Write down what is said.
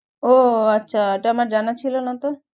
ও ও আচ্ছা এটা আমার জানা ছিল না তো